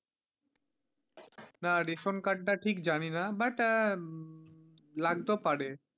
না ration card টা ঠিক জানিনা but লাগতেও পারে।